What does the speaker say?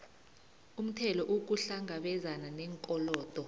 umthelo ukuhlangabezana neenkolodo